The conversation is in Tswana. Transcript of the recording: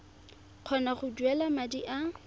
kgona go duela madi a